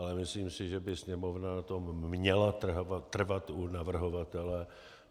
Ale myslím si, že by Sněmovna na tom měla trvat u navrhovatele.